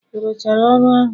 Ị rụchara ọrụ ahụ?